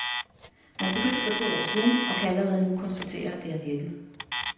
Man begyndte for to år siden, og kan allerede nu konstatere, at det har virket.